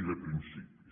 i de principis